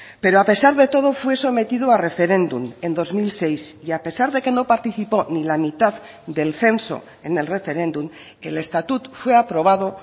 pero a pesar de todo fue sometido a referéndum en dos mil seis y a pesar de que no participó ni la mitad del censo en el referéndum el estatut fue aprobado